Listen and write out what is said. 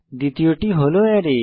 দ্বিতীয়টি হল অ্যারে